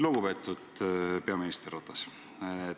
Lugupeetud peaminister Ratas!